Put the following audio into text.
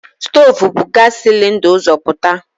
Stoovu bu gaasi silinda ụzọ pụta.